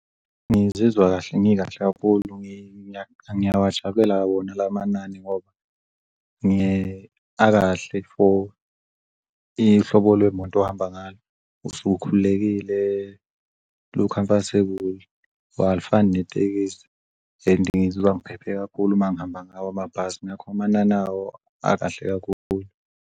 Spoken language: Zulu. Ngizizwa kahle ngikahle kakhulu, ngiyawujabulela wona lamanani ngoba akahle for ihlobo lwemoto ohamba ngalo. Usuke ukhululekile lu-comfortable, alifani netekisi and ngizizwa ngiphephe kakhulu mangihamba ngawo amabhasi, ngakho amanani awo akahle kakhulu.